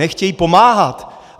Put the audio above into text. Nechtějí pomáhat.